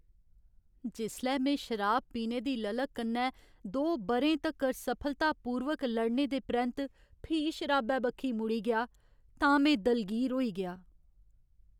जिसलै में शराब पीने दी ललक कन्नै दो ब'रें तक्कर सफलतापूर्वक लड़ने दे परैंत्त फ्ही शराबै बक्खी मुड़ी गेआ तां में दलगीर होई गेआ।